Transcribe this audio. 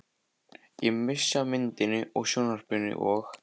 Ég missi af myndinni í sjónvarpinu og.